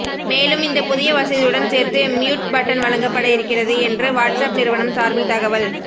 மேலும் இந்த புதிய வசதியுடன் சேர்த்து மியுட் பட்டன் வழங்கப்பட இருக்கிறது என்று வாட்ஸ்ஆப் நிறுவனம் சார்பில் தகவல்